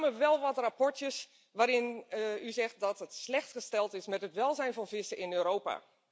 Er kwamen wel wat rapportjes waarin u zegt dat het slecht gesteld is met het welzijn van vissen in Europa.